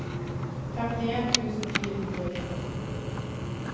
femtien tusen fire hundre og tretti